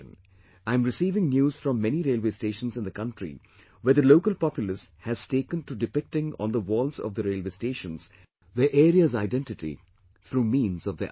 I am receiving news from many railway stations in the country where the local populace has taken to depicting on the walls of the railway stations, their area's identity, through means of their arts